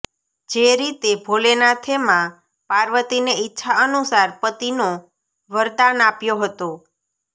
જે રીતે ભોલેનાથે માં પાર્વતીને ઈચ્છા અનુસાર પતિનો વરદાન આપ્યો હતો